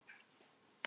En hvers vegna spírur?